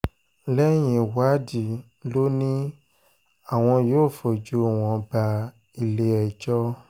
lẹ́yìn ìwádìí ló ní àwọn yóò fojú wọn bá ilé-ẹjọ́